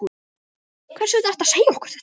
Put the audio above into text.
Hvers vegna ertu að segja okkur þetta?